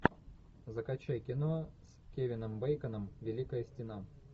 закачай кино с кевином бейконом великая стена